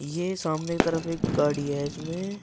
ये सामने की तरफ एक गाड़ी है इसमें--